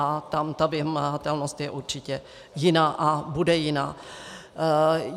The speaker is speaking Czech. A tam ta vymahatelnost je určitě jiná a bude jiná.